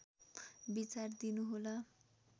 विचार दिनु होला